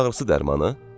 Baş ağrısı dərmanı?